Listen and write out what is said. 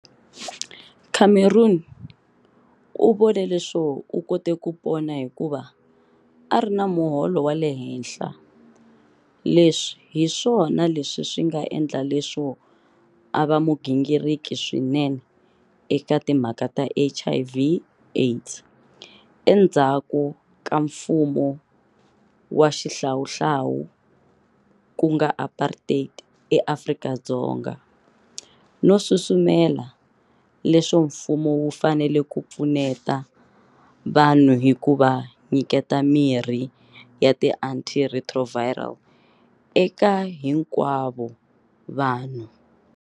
Cameron u vone leswo u kote ku pona hikuva a ri na muholo wa le henhla, leswi hi swona leswi swi nga endla leswo a va mugingiriki swinene eka timhaka ta HIV AIDS endzhaku ka mfumo wa xihlawuhlawu ku nga apartheid eAfrika-Dzonga, no susumela leswo mfumo wu fanele ku pfuneta vanhu hi ku va nyiketa mirhi ya ti-antiretroviral eka hinkwavo vanhu.